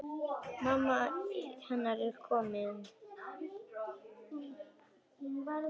Mamma hennar komin.